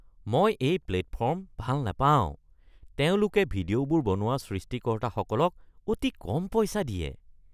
মই এই প্লেটফৰ্ম ভাল নাপাওঁ। তেওঁলোকে ভিডিঅ'বোৰ বনোৱা সৃষ্টিকৰ্তাসকলক অতি কম পইচা দিয়ে।